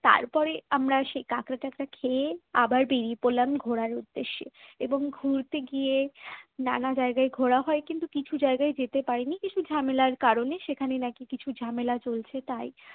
তারপরে আমরা সেই কাঁকড়া টাঁকরা খেয়ে আবার বেরিয়ে পড়লাম ঘোড়ার উদ্দেশ্যে এবং ঘুরতে গিয়ে নানা জায়গায় ঘোরা হয় কিন্তু কিছু জায়গায় যেতে পারিনি কিছু ঝামেলার কারণে সেখানে নাকি কিছু ঝামেলা চলছে তাই